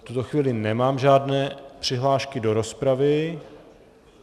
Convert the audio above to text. V tuto chvíli nemám žádné přihlášky do rozpravy.